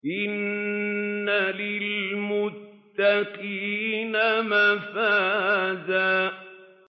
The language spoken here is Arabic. إِنَّ لِلْمُتَّقِينَ مَفَازًا